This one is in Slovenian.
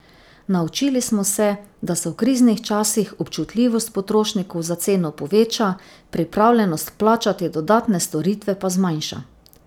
Naučili smo se, da se v kriznih časih občutljivost potrošnikov za ceno poveča, pripravljenost plačati dodatne storitve pa zmanjša.